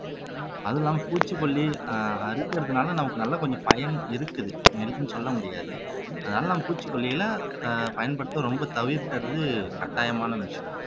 அதுவும் இல்லாம பூச்சிக்கொல்லி ஆஹ் அரிக்கிறதுனால நமக்கு நல்லா கொஞ்சம் பயன் இருக்குது இருக்குன்னு சொல்ல முடியாது அதனாலதான் பூச்சிக்கொல்லிகளை ஆஹ் பயன்படுத்த ரொம்ப தவிர்க்கிறது கட்டாயமான விஷயம்